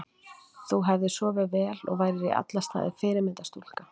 Þú hefðir sofið vel og værir í alla staði fyrirmyndar stúlka.